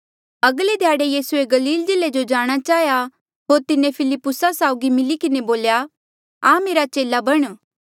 अगले ध्याड़े यीसूए गलील जिल्ले जो जाणा चाहेया होर तिन्हें फिलिप्पुसा साउगी मिली किन्हें बोल्या आ मेरा चेला बण